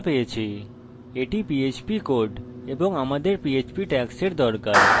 একটি কোড যা সবাইকে দেখাবো আমি mysql dot php খোলা পেয়েছি